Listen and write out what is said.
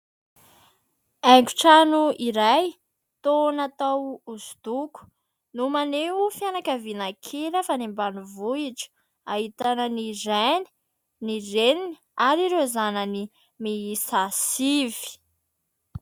Haingon-trano iray toa natao hosodoko no maneho fianakaviana kely avy any ambanivohitra ahitana ny Rainy, ny Reniny ary ireo zanany miisa sivy.